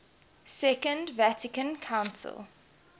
second vatican council